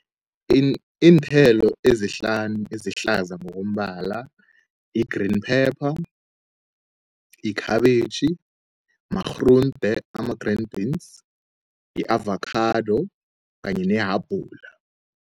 Iinthelo ezihlanu ezihlaza ngokombala yi-green pepper, yikhabitjhi, marhunde ama-green beans, yi-avacado kanye nehabula.